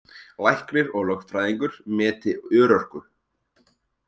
Læknir og lögfræðingur meti örorku